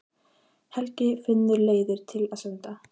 Helgi finnur leiðir til að senda